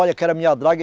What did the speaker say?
Olha minha draga.